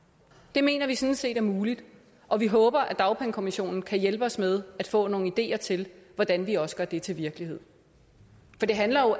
det mener vi sådan set er muligt og vi håber at dagpengekommissionen kan hjælpe os med at få nogle ideer til hvordan vi også gør det til virkelighed det handler jo